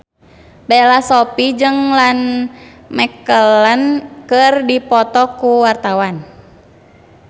Bella Shofie jeung Ian McKellen keur dipoto ku wartawan